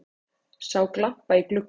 Sá glampa á glugga